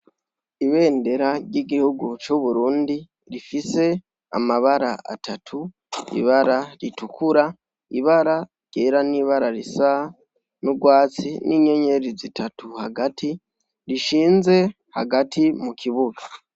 Ibendera ry'igihugu c'Uburundi rifise amabara atatu, , ibara ritukura, ibara ryera n'ibara risa n'urwatsi, n'inyenyeri zitatu hagati, rishinze hagati mu kibuga.